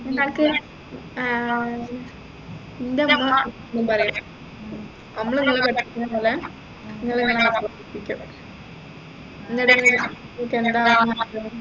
ഏർ എൻെറ ഉമ്മ എപ്പോഴും പറയും അമ്മള് ഇങ്ങളെ പഠിപ്പിക്കുന്ന പോലെ ഇങ്ങള് ഇങ്ങളെ മക്കളെ പഠിപ്പിക്കും എന്താ ആവാൻ ആഗ്രഹം